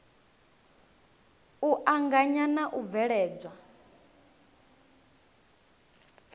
u anganya na u bveledzwa